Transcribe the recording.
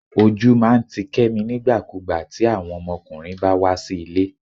ojú máà ń tí kemí nígbàkúgbà ti awon ọmọkùnrin bá wá sí ilé